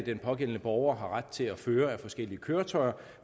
den pågældende borger har ret til at føre af forskellige køretøjer